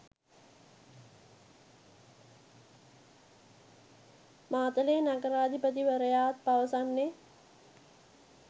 මාතලේ නගරාධිපතිවරයාත් පවසන්නේ